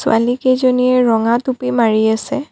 ছোৱালী কেইজনীয়ে ৰঙা টুপী মাৰি আছে।